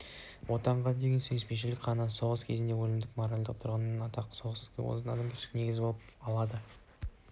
отанға деген сүйіспеншілік қана соғыс кезіндегі өлімді моральдық тұрғыдан ақтап соғыс ісінің адамгершілік негізі бола алады